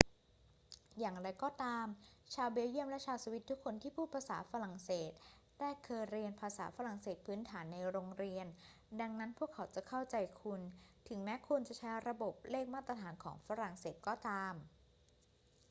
อย่างไรก็ตาม ชาวเบลเยียมและชาวสวิสทุกคนที่พูดภาษาฝรั่งเศสได้เคยเรียนภาษาฝรั่งเศสพื้นฐานในโรงเรียน ดังนั้นพวกเขาจะเข้าใจคุณ ถึงแม้คุณจะใช้ระบบเลขมาตรฐานของฝรั่งเศสก็ตาม